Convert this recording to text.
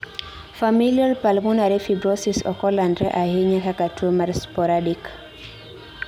Familial pulmonary fibrosis ok olandre ahinya kaka tuo mar sporadic